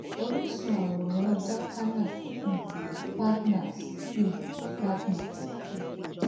oríṣun àwòrán jacana um partners um partners um